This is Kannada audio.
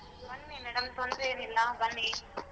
ಬನ್ನಿ madam ತೊಂದ್ರೆ ಏನ್ ಇಲ್ಲ ಬನ್ನಿ.